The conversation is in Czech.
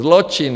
Zločin!